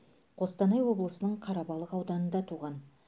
қостанай облысының қарабалық ауданында туған